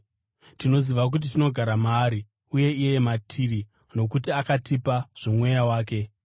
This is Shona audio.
Tinoziva kuti tinogara maari uye iye matiri, nokuti akatipa zvoMweya wake.